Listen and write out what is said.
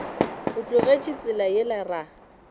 o tlogetše tsela yela ra